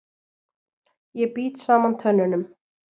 Ég bít saman tönnunum.